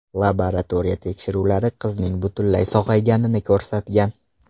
Laboratoriya tekshiruvlari qizning butunlay sog‘ayganini ko‘rsatgan .